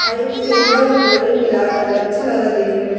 और एक सिल्वर और गोल्डन मिलाकर है अच्छा लग रहा है देखने में --